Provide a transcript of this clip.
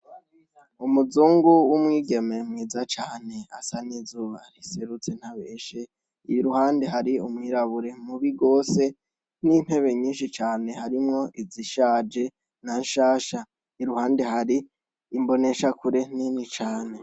Umuzungu w'umwigeme mwiza cane asa n'izuba riserutse ntabeshe, iruhande hari umwirabure mubi gose, n'intebe nyinshi cane harimwo izishaje na nshasha, iruhande hari imboneshakure nini cane.